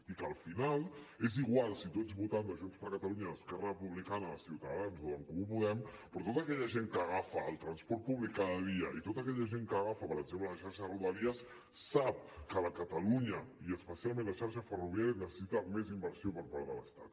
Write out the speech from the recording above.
i que al final és igual si tu ets votant de junts per catalunya d’esquerra republicana de ciutadans o d’en comú podem però tota aquella gent que agafa el transport públic cada dia i tota aquella gent que agafa per exemple la xarxa de rodalies sap que catalunya i especialment la xarxa ferroviària necessita més inversió per part de l’estat